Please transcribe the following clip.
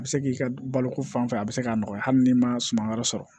A bɛ se k'i ka balo ko fan fɛ a bɛ se k'a nɔgɔya hali n'i ma suman wɛrɛ sɔrɔ